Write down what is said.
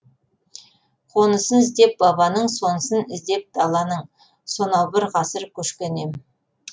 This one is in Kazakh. қонысын іздеп бабаның сонысын іздеп даланың сонау бір ғасыр көшкен ем